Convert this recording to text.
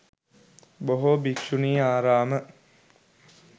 බොහෝ භික්ෂුණි ආරාම